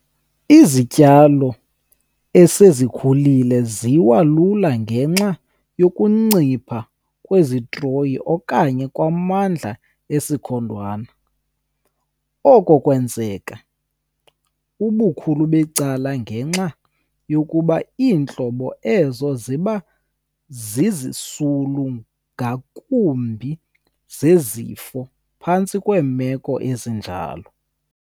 Izityalo esezikhulile ziwa lula ngenxa yokuncipha kwesitroyi okanye kwamandla esikhondwana. Oko kwenzeka, ubukhulu becala, ngenxa yokuba iintlobo ezo ziba zizisulu ngakumbi zezifo phantsi kwemeko ezinjalo.